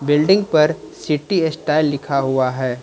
Building पर city style लिखा हुआ है।